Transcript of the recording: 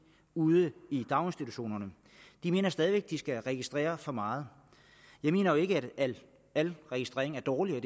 ude i daginstitutionerne de mener stadig væk at de skal registrere for meget jeg mener jo ikke at al registrering af dårlig og